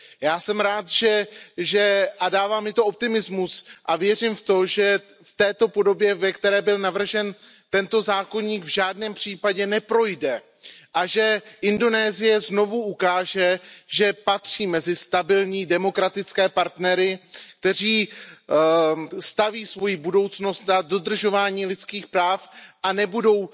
Já jsem rád a dává mi to optimismus a věřím v to, že v této podobě, ve které byl navržen tento zákoník, v žádném případě neprojde a že Indonésie znovu ukáže, že patří mezi stabilní demokratické partnery, kteří staví svoji budoucnost na dodržování lidských práv a nebudou